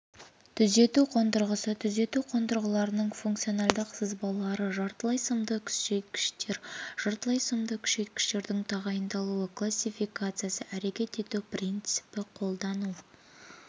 түзету қондырғысы түзету қондырғыларының функционалдық сызбалары жартылай сымды күшейткіштер жартылай сымды күшейткіштердің тағайындауы классификациясы әрекет ету принципі қолдану